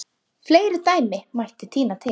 Fleiri dæmi mætti tína til.